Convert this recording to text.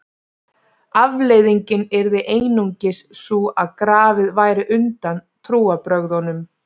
Afleiðingin yrði einungis sú að grafið væri undan trúarbrögðunum.